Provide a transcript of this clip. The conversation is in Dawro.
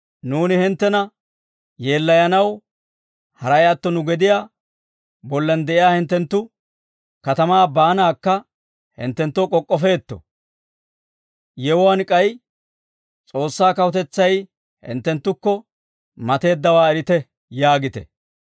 ‹Nuuni hinttena yeellayanaw, haray atto nu gediyaa bollan de'iyaa hinttenttu katamaa baanaakka hinttenttoo k'ok'k'ofeetto ; yewuwaan k'ay, S'oossaa Kawutetsay hinttenttukko mateeddawaa erite› yaagite.